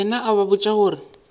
yena a ba botša gore